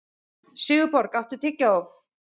Sigurborg, áttu tyggjó?